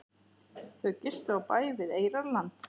Þau gistu á bæ við Eyrarland.